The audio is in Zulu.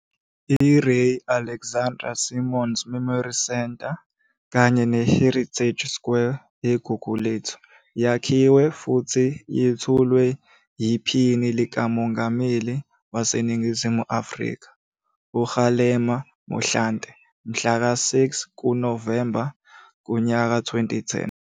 I-Ray Alexander Simons Memory Centre kanye ne-Heritage Square eGuguletho yakhiwa futhi yethulwa yiPhini likaMongameli waseNingizimu Afrika, uKgalema Mothlante mhla ka 6 kuNovemba 2010.